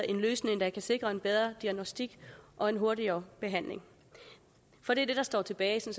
en løsning der kan sikre en bedre diagnosticering og en hurtigere behandling for det der står tilbage